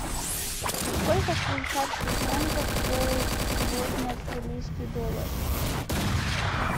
сколько швейцарских франков стоит сегодня австралийский доллар